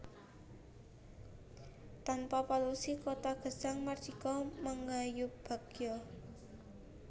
Tanpa polusi kota gesang mardika mangayubagya